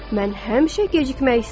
Mən həmişə gecikmək istəyirəm.